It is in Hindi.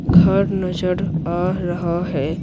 घर नजर आ रहा है।